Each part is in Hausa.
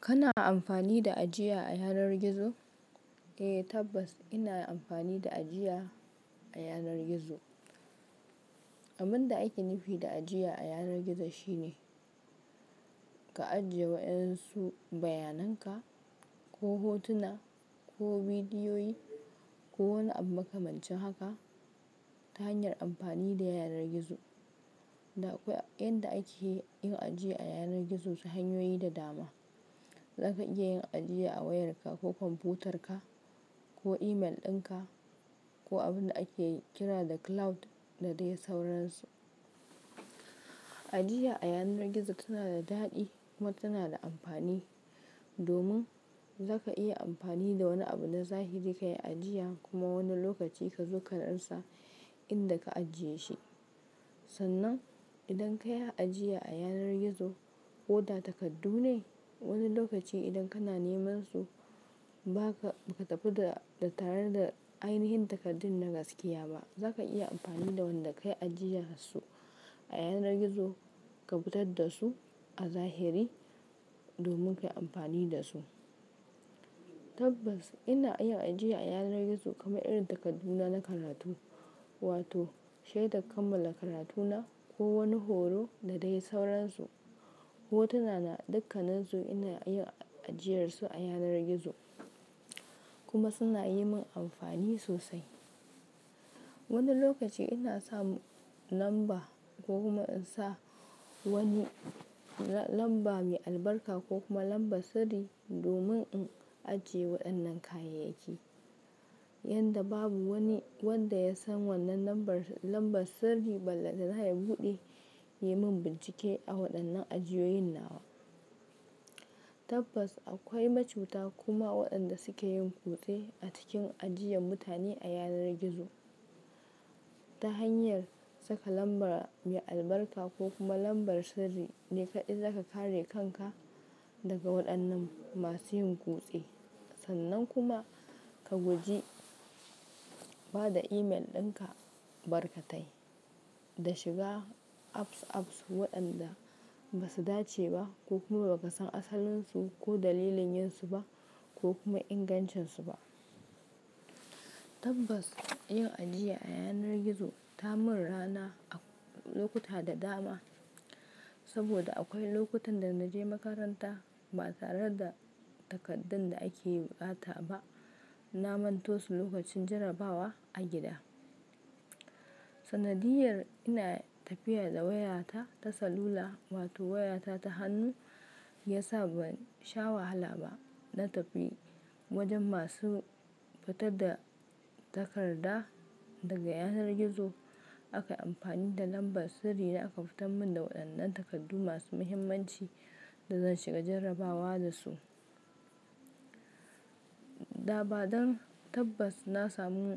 Kana amfani da ajiya a yanar gizo? Eh tabbas ina amfani da ajiya a yanar gizo. Abin da ake nufi da ajiya a yanar gizo shine ka ajiye wa ƴan su bayananka ko hotuna ko bidiyoyi ko wani abu makamancin haka ta hanyar amfani da yanar gizo. Da akwai yanda ake yin ajiya a yanar gizo su hanyoyi da dama. Zaka iya yin ajiya a wayarka ko kwamfutar ka ko imel ɗinka ko abin da ake kira da cloud da dai sauransu. Ajiya a yanar gizo tana da daɗi kuma tana da amfani domin zaka iya amfani da wani abu na zahiri ka yi ajiya kuma wani lokaci ka zo ka rasa inda ka ajiye shi. Sannan idan ka yi ajiya a yanar gizo ko da takardu ne wani lokaci idan kana neman su ba ka, ba ka tafi da, da tare da ainihin takardun na gaskiya ba. Zaka iya amfani da wanda ka yi ajiyar su a yanar gizo ka fitar da su a zahiri domin ka yi amfani da su. Tabbas ina yin ajiya a yanar gizo kamar irin takarduna na karatu wato shaidar kammala karatuna ko wani horo da dai sauransu. Hotuna na dukkanin su ina yin ajiyar su a yanar gizo kuma suna yi min amfani sosai. Wani lokaci ina sa lamba ko kuma in sa wani la-lamba mai albarka ko kuma lambar sirri domin in ajiye waɗannan kayayyaki. Yanda babu wani wanda ya san wannan lambar, lambar sirri ballantana ya buɗe ya yi min bincike a waɗannan ajiyoyin nawa. Tabbas akwai ma cuta kuma waɗanda suke yin kutse a cikin ajiyan mutane a yanar gizo ta hanyar saka lambar mai albarka ko kuma lambar sirri. Ne kaɗai zaka kare kanka daga waɗannan masu yin kutse. Sannan kuma ka guji ba da imel ɗinka barkatai da shiga apps, apps waɗanda ba su dace ba ko kuma ba ka san asalin su ko dalilin yin su ba ko kuma ingancin su ba. Tabbas yin ajiya a yanar gizo ta mun rana a lokuta da dama saboda akwai lokutan da na je makaranta ba tare da takardan da ake bukata ba. Na manto su lokacin jarrabawa a gida. Sanadiyyar ina tafiya da wayata ta salula wato wayata ta hannu ya sa ban sha wahala ba na tafi wajen masu fitar da takarda daga yanar gizo. A ka yi amfani da lambar sirri na aka fitar mun da waɗannan takardu masu muhimmanci da zan shiga jarrabawa da su. Da ba dan tabbas na samu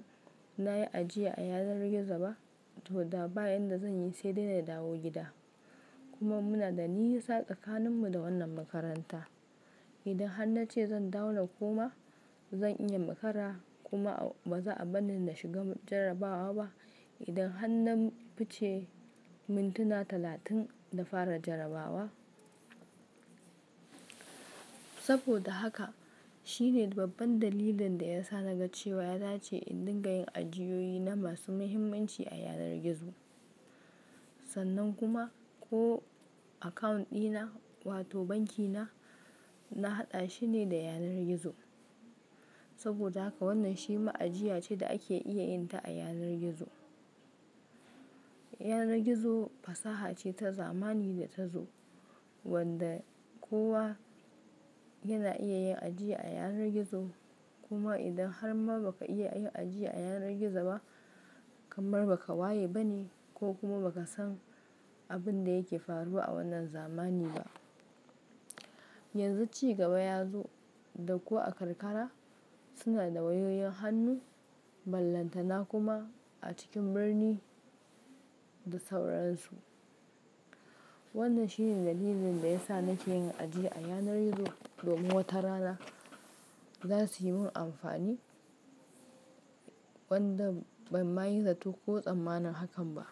na yi ajiya a yanar gizo ba to da baya yanda zan yi sai dai na dawo gida. Kuma muna da nisa tsakanin mu da wannan makaranta. Idan har na ce zan dawo na koma zan iya makara kuma ba za a bar ni na shiga jarrabawa ba idan har na fice mintuna talatin da fara jarrabawa. Saboda haka shine babban dalilin da ya sa na ga cewa ya dace in dinga yin ajiyoyi na masu muhimmanci a yanar gizo. Sannan kuma ko account dina wato banki na, na haɗa shi ne da yanar gizo. Saboda haka wannan shi ma ajiya ce da ake iya yin ta a yanar gizo. Yanar gizo fasaha ce ta zamani da ta zo wanda kowa yana iya yin ajiya a yanar gizo. Kuma idan har ma ba ka iya yin ajiya a yanar gizo ba kamar baka waye ba ne ko kuma baka san abin da yake faruwa a wannan zamani ba. Yanzu cigaba ya zo da ko a karkara suna da wayoyin hannu ballantana kuma a cikin birni da sauransu. Wannan shine dalilin da ya sa nake yin ajiya a yanar gizo domin wata rana za su yi min amfani wanda ban ma yi zato ko tsammanin hakan ba.